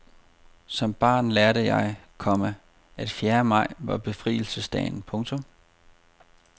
Som barn lærte jeg, komma at fjerde maj var befrielsesdagen. punktum